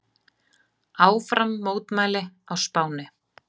Áfram mótmæli á Spáni